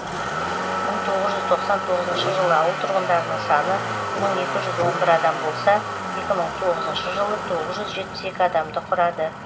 мың тоғыз жүз тоқсан тоғызыншы жылы ауыл тұрғындарының саны мың екі жүз он бір адам болса екі мың тоғызыншы жылы тоғыз жүз жетпіс екі адамды құрады